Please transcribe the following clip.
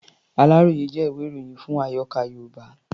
Aláròyé jẹ́ ìwé-ìròyìn fún àyọká̀ Yorùbá.